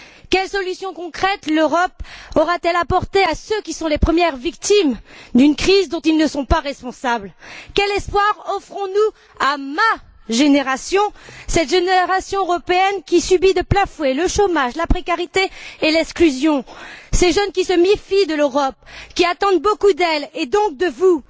Quelles solutions concrètes l'Europe aura t elle apportées à ceux qui sont les premières victimes d'une crise dont ils ne sont pas responsables? Quel espoir offrons nous à ma génération, cette génération européenne qui subit de plein fouet le chômage, la précarité et l'exclusion, ces jeunes qui se méfient de l'Europe, qui attendent beaucoup d'elle et donc de vous?